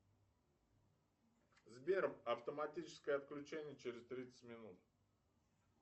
сбер автоматическое отключение через тридцать минут